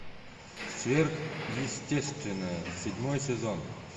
сверхъестественное седьмой сезон